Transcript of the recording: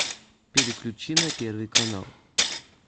переключи на первый канал